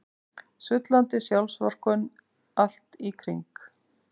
Sullandi sjálfsvorkunnin allt í kring.